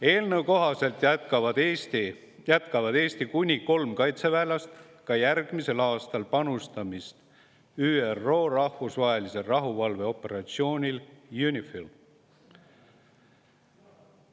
Eelnõu kohaselt jätkavad Eesti kuni kolm kaitseväelast ka järgmisel aastal panustamist ÜRO rahvusvahelisel rahuvalveoperatsioonil UNIFIL.